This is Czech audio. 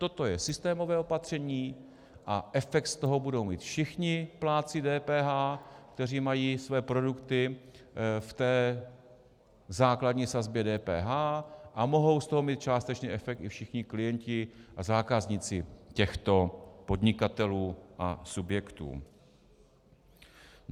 Toto je systémové opatření a efekt z toho budou mít všichni plátci DPH, kteří mají své produkty v té základní sazbě DPH, a mohou z toho mít částečně efekt i všichni klienti a zákazníci těchto podnikatelů a subjektů.